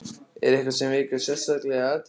Er eitthvað sem vekur sérstaka athygli?